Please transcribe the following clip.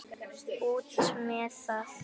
Út með það!